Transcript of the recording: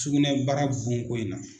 Sugunɛbara bonko in na.